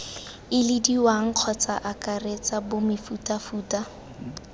ilediwang kgotsa ii akaretsa bomefutafuta